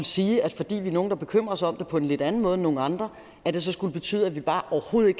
sige at fordi vi er nogle der bekymrer os om det på en lidt anden måde end nogle andre så skulle det betyde at vi bare overhovedet